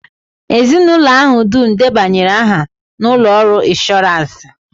Ezinụlọ ahụ dum debanyere aha na ụlọ ọrụ ịnshọransị